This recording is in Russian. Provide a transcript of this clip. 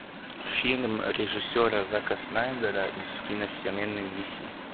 фильм режиссера зака снайдера из киновселенной диси